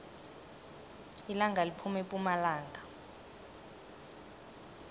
ilanga liphuma epumalanga